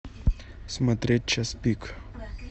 смотреть час пик